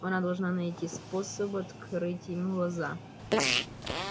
она должна найти способ открыть ему глаза